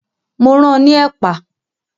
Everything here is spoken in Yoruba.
Mo ran ní ẹ̀pà